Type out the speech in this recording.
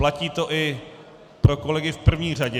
Platí to i pro kolegy v první řadě.